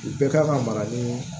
U bɛɛ kan ka mara ni